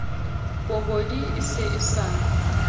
pobodi e se e sa